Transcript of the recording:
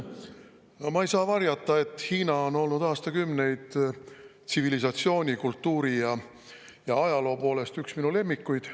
No ma ei saa varjata, et Hiina on olnud aastakümneid tsivilisatsiooni, kultuuri ja ajaloo poolest üks minu lemmikuid.